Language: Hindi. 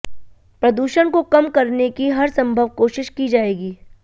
प्रदूषण को कम करने की हर संभव कोशिश की जायेगी